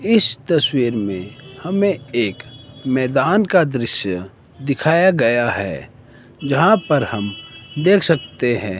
इस तस्वीर में हमें एक मैदान का दृश्य दिखाया गया हैं जहाँ पर हम देख सकते हैं।